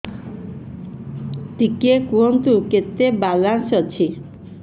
ଟିକେ କୁହନ୍ତୁ କେତେ ବାଲାନ୍ସ ଅଛି